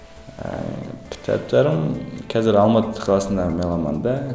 ііі кітаптарым қазір алматы қаласында меломанда